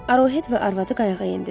Arohet və arvadı qayığa endilər.